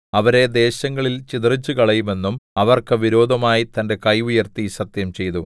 അവരെ ദേശങ്ങളിൽ ചിതറിച്ചുകളയുമെന്നും അവർക്ക് വിരോധമായി തന്റെ കൈ ഉയർത്തി സത്യംചെയ്തു